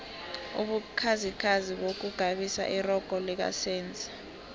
ubukhazikhazi bukghabisa irogo lika senzi